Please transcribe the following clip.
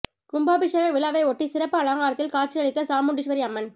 கும்பாபிஷேக விழாவையொட்டி சிறப்பு அலங்காரத்தில் காட்சியளித்த சாமுண்டீஸ்வரி அம்மன்